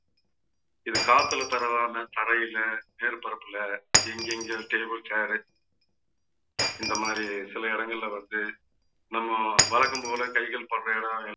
இது காத்துல பரவாம தரையில மேற்பரப்புல எங்கெங்க table chair இந்த மாதிரி சில இடங்கள்ல வந்து நம்ம வழக்கம் போல கைகள் பற்ற இடம்